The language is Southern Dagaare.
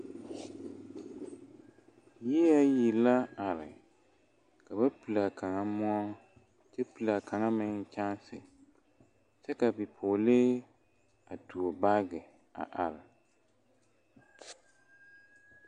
Yie ayi la are ka ba pili kaŋa moɔ a pili kaŋa meŋ kyɛnse kyɛ ka bipɔgelee a tuo baagi.